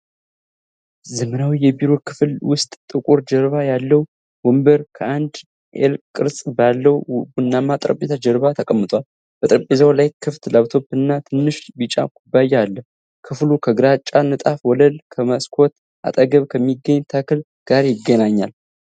ዘመናዊ የቢሮ ክፍል ውስጥ፣ ጥቁር ጀርባ ያለው ወንበር ከአንድ ኤል ቅርጽ ባለው ቡናማ ጠረጴዛ ጀርባ ተቀምጧል። በጠረጴዛው ላይ ክፍት ላፕቶፕ እና ትንሽ ቢጫ ኩባያ አለ። ክፍሉ ከግራጫ ንጣፍ ወለልና ከመስኮት አጠገብ ከሚገኝ ተክል ጋር ይገኛል።